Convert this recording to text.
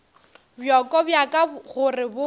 bjoko bja ka gore bo